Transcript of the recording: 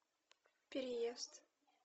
переезд